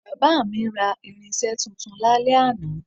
Bàbá mi ra irinsé tuntun lálẹ́ àná